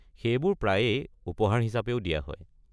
সেইবোৰ প্ৰায়েই উপহাৰ হিচাপেও দিয়া হয়।